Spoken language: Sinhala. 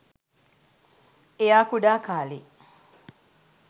එයා කුඩා කාලේ